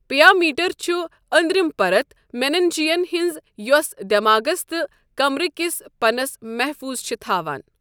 پِیا میٹرچھُ أندرِم پَرت مینَنجیَن ہٕنٛز یۄص دؠماغَس تہٕ کَمرٕکِس پَنَس مَحفوٗظ چھِ تھاوَن.